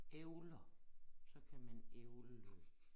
Æbler så kan man ævle løs